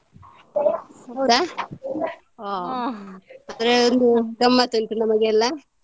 ಹೌದಾ. ಹ್ಮ್ ಹಾಗಾದ್ರೆ ಒಂದು ಗಮ್ಮತ್ ಉಂಟು ನಮಗೆಲ್ಲ.